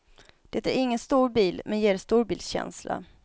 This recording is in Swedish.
Det är ingen stor bil, men ger storbilskänsla.